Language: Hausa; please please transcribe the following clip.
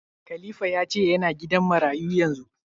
Khalifa ya ce yana gidan marayu yanzu?